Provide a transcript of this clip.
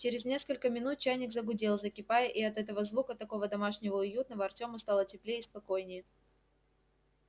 через несколько минут чайник загудел закипая и от этого звука такого домашнего и уютного артему стало теплее и спокойнее